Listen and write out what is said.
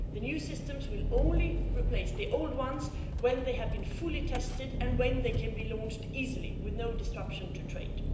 The new systems will only replace the old ones when they have been fully tested and when they can be launched easily with no disruption to trade.